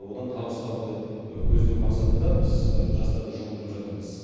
одан табыс табуды көздеу мақсатында біз жастарды жұмылдырып жатырмыз